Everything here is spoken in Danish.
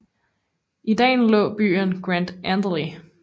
I dalen lå byen Grand Andely